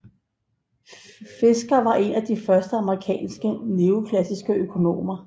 Fisher var en af de første amerikanske neoklassiske økonomer